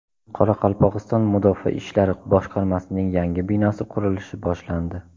Qoraqalpog‘iston Mudofaa ishlari boshqarmasining yangi binosi qurilishi boshlandi.